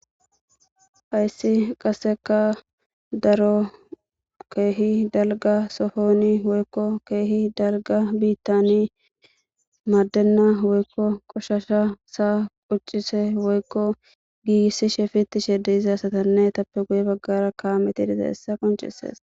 hayssi qaseka daro keehi dalga sohoni woykko keehi dalga bitani maaddenna woykko qoshasha saa quccise woykko gigisishe fitishe de'za asatanne etappe guye baggara kaameti dite hessa qonchesees.